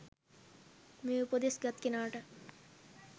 මේ උපදෙස් ගත් කෙනාට